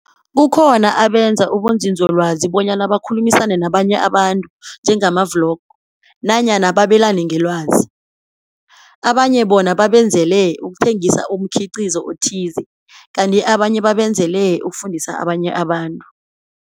Kukhona abenza ubunzinzolwazi bonyana bakhulumisane nabanye abantu, njengama-blog, nanyana babelane ngelwazi. Abanye bona babenzele ukuthengisa umkhiqizo othize, kanti abanye babenzele ukufundisa abanye abantu.